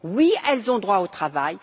Oui, elles ont droit au travail.